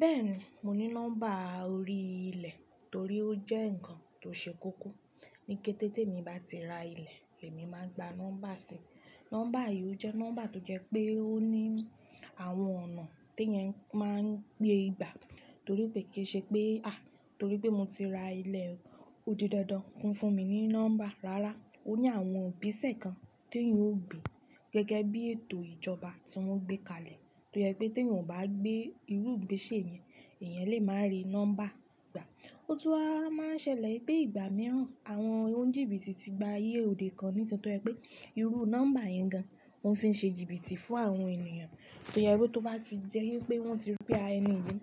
Bẹ́ẹ̀ni, mo ní nọ́mbà orí ilẹ̀ torí ó jẹ́ ǹkan tó ṣe kókó. Ní kété tí emi bá ti ra ilẹ̀, èmi máa gba nọ́mbà si. Nọ́mbà yìí ó jẹ́ nọ́mbà tó jẹ́ pé ó ní àwọn ọ̀nà tí ẹ̀nyẹn máa ń gbé gbà. Torí pé kì í ṣe pé, Torí pé mo ti ra ilẹ̀, ó di dandan kí wọ́n fún mi ní nọ́mbà. Rárá, ó ní àwọn igbesẹ̀ kan tí ẹ̀yin ó gbe gẹ́gẹ́ bí ètò ìjọba tí wọ́n gbé kalẹ̀. To jẹ pé tí ẹ̀yin ò bá gbé irú ìgbésẹ̀ yẹn, eysn lè máa rí nọ́mbà gbà. Ó tún wa máa ń ṣẹlẹ̀ pé ìgbà mìíràn, àwọn onjìbi ti gba aye òde kan nítorí pé irú nọ́mbà yẹn gan wọ́n fi ń ṣe jìbìtì fún àwọn ènìyàn. Torí ẹ rú tó bá ti jẹ́ wípé wọ́n ti rí pé ẹni yìí,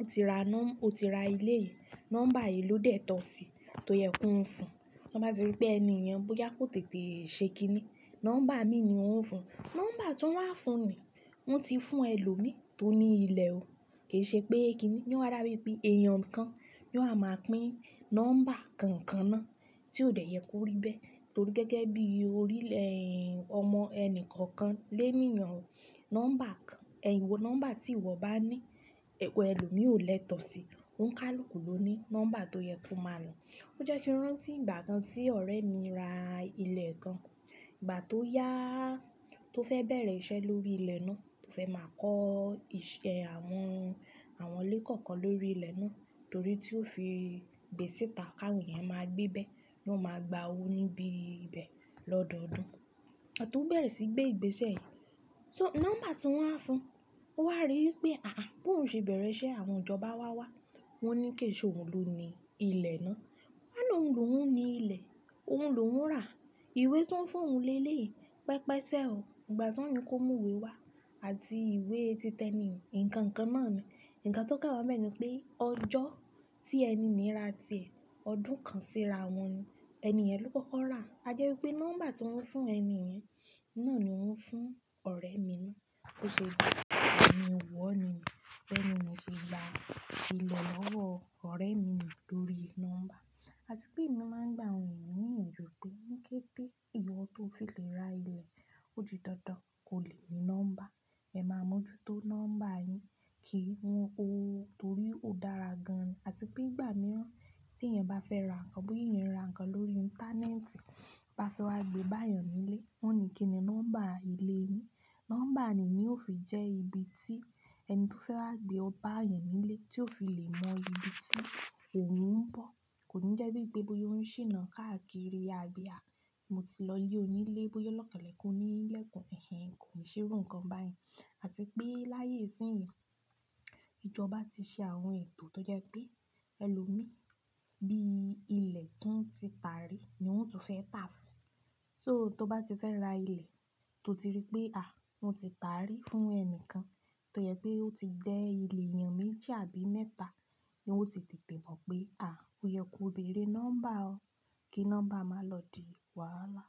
ó ti ra nọ́-- ó ti ra ilé yìí, nọ́mbà yìí ló dẹ̀ tọ́ sí i tó yẹ kó ń fún. Wọ́n bá ti rí pé ẹni èèyàn bóyá kó tètè ṣe kiní, nọ́mbà mi ni wọ́n ń fún. Nọ́mbà tí wọ́n wá ń fún mi, wọ́n ti fún ẹlòmíí tó ní ilẹ̀ o. Kì í ṣe pé kiní. Ni wọ́n á dàbí pé èèyàn kan ni wọ́n á máa pín nọ́mbà kankan náà tí ó dẹ̀ yẹ kó rí bẹ́ẹ̀. Torí gẹ́gẹ́ bí orílẹ̀, ọmọ ẹnì kankan lé ènìyàn o. Nọ́mbà kan, ẹ̀yin wo nọ́mbà tí ìwọ bá ní, ẹwù ẹlòmíì ò lẹ́tọ̀ọ́ sí i. Ó ń kálù ku ló ní nọ́mbà tó yẹ kó máa lò. Ó jẹ́ kí ń rántí ìgbà kan tí ọ̀rẹ́ mi ra ilẹ̀ kan. Ìgbà tó yá, tó fẹ́ bẹ̀rẹ̀ iṣẹ́ lórí ilẹ̀ náà, tó fẹ́ máa kọ́ ìṣe àwọn, àwọn ilé kọ̀ọ̀kan lórí ilẹ̀ náà. Torí tí ó fi gbèsìta ká ẹ̀nyẹn máa gbé bẹ́ẹ̀, ló máa gba owó níbí ibẹ̀ lọ́dọọdún. Iba ti ó bẹ̀rẹ̀ sí í gbé ìgbésẹ̀. So nọ́mbà tí wọ́n wá ń fún, ó wá rí pé àhàhà bó ń ṣe bẹ̀rẹ̀ iṣẹ́ àwọn ìjọba wá wá, wọ́n ní kì í ṣe òun ló ni ilẹ̀ náà. Wọ́n náà òun lò ń ni ilẹ̀, òun lò ń rà á, ìwé tí wọ́n fún òun lé léè, pẹpẹsẹ o. Ìgbà tí wọ́n yín kó mú ìwé wá àti ìwé titẹni, ǹkan kan náà ni. Ǹǹkan tó kàn wọ́ bẹ́ẹ̀ ni pé ọjọ́ tí ẹni níí ra tiẹ̀, ọdún kan síra wọ́n ni. Ẹniyẹ̀n ló kọ́kọ́ rà á. A jẹ́ wípé nọ́mbà tí wọ́n fún ẹni yẹn, náà ni wọ́n fún ọ̀rẹ́ mi ná. Ó ṣe bí ẹni ò wọ̀ ni. Beeni yen se la ilẹ̀ lọ́wọ́ ọ̀rẹ́ mi nù lórí nọ́mbà. Àti pé èmi máa ń gba àwọn ènìyàn ni ìyànjú pé ní kété ìwọ tó fi lè ra ilẹ̀, ó di dandan kó lè ní nọ́mbà. Ẹ máa mọ́jútó nọ́mbà yín kí wọ́n kó o torí ó dára gan an. Àti pé ìgbà mìíràn tí ẹ̀nyẹn bá fẹ́ ra ǹkan, bóyá ẹ̀nyẹn ra ǹkan lórí íńtánẹ́ẹ̀tì, bá fẹ́ wá gbé e bá èèyàn nílé, wọ́n ní kí ni nọ́mbà ilé yin. Nọ́mbà ni ó fi jẹ́ ibi tí ẹni tó fẹ́ wá gbé o bá èèyàn nílé, tí ó fi lè mọ ibi tí òun ń bọ̀. Kò ní jẹ́ wípé bóyá ó ń ṣìnà káàkiri àbí à mo ti lọ yí ònílé, bóyá o lọ́ kan lekun oun lekun, ẹ̀hen kò ì ṣe irú ǹkan báyìí. Àti pé láyé isíyìn yii, ìjọba ti ṣe àwọn ètò tó jẹ́ pé ẹlòmíì bí ilẹ̀ tó ń ti tàárí ni ó tún fẹ́ tà fún. So tó bá ti fẹ́ ra ilẹ̀, tó ti rí pé à wọ́n ti tàárí fún ẹnìkan, tó yẹ pé ó ti dẹ́ ilẹ̀ èèyàn méjì àbí mẹ́ta, ni ó ti tètè mọ̀ pé à o yẹ kó bẹ̀rẹ̀ nọ́mbà o kí nọ́mbà má lọ di wàhálà.